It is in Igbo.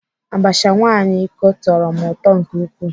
Abacha nwaanyị iko tọrọ m ụtọ nke ukwuu.